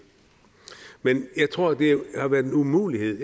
men jeg tror at det har været en umulighed at